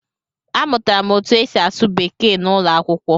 Amụtara m otú e si asụ Bekee n'ụlọ akwụkwọ